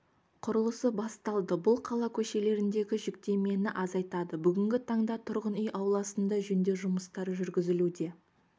құрылысы басталды бұл қала көшелеріндегі жүктемені азайтады бүгінгі таңда тұрғын үй ауласында жөндеу жұмыстары жүргізілуде